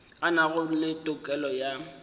a nago le tokelo ya